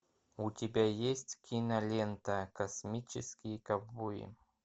у тебя есть кинолента космические ковбои